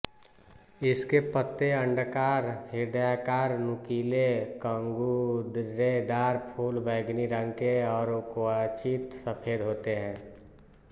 इसके पत्ते अण्डाकार हृदयाकार नुकीले कंगूरेदार फूल बैंगनी रंग के और क्वचित सफेद होते हैं